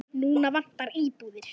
Núna vantar íbúðir.